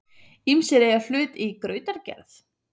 Ýmsir eiga hlut í grautargerð.